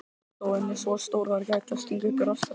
krabbadýrið laðar bráðina einfaldlega að kjafti hákarlsins